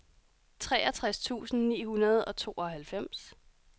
treogtres tusind ni hundrede og tooghalvfems